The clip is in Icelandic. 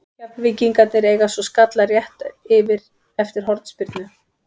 Keflvíkingarnir eiga svo skalla rétt yfir eftir hornspyrnu.